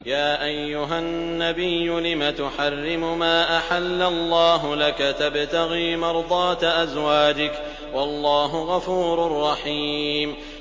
يَا أَيُّهَا النَّبِيُّ لِمَ تُحَرِّمُ مَا أَحَلَّ اللَّهُ لَكَ ۖ تَبْتَغِي مَرْضَاتَ أَزْوَاجِكَ ۚ وَاللَّهُ غَفُورٌ رَّحِيمٌ